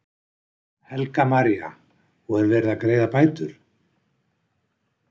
Helga María: Og er verið að greiða bætur?